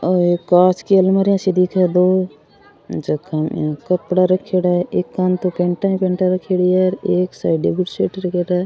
ओ एक कांच की अलमारियां सी दिखे है दो जका में इया कपडा रखेड़ा है एकानी तो पेंटा ही पेंटा रखेड़ी है एक साइड बुसेट रखेड़ा है।